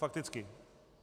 Fakticky.